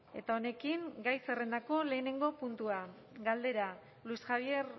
eta honekin gai zerrendako lehenengo puntua galdera luis javier